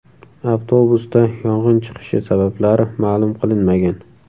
Avtobusda yong‘in chiqishi sabablari ma’lum qilinmagan.